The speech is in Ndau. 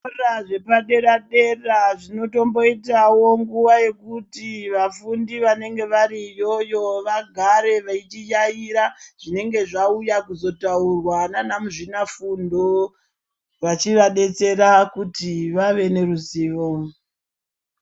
Zvikora zvepadera-dera zvinotomboitawo nguva yekuti vafundi vanenge vari iyoyo vagare vechiyaiya zvinenge zvauya kuzotaurwa naana muzvinafundo, vachivadetsera kuti vave neruzivo.